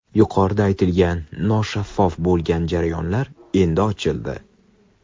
Yuqorida aytilgan noshaffof bo‘lgan jarayonlar endi ochildi.